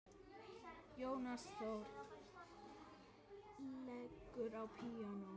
Jónas Þórir leikur á píanó.